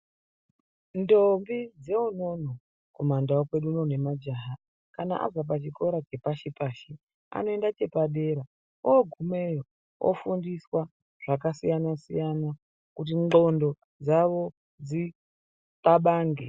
Ntombi dzeunono kumandau kwedu unono nemajaha kana abva pachikora chepashi-pashi anoenda chepadera oogumeyo anofundiswa zvakasiyana-siyana kuti nxondo dzavo dzinxabange.